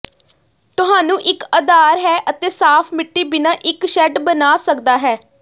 ਤੁਹਾਨੂੰ ਇੱਕ ਅਧਾਰ ਹੈ ਅਤੇ ਸਾਫ਼ ਮਿੱਟੀ ਬਿਨਾ ਇੱਕ ਸ਼ੈੱਡ ਬਣਾ ਸਕਦਾ ਹੈ